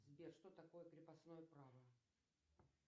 сбер что такое крепостное право